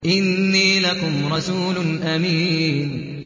إِنِّي لَكُمْ رَسُولٌ أَمِينٌ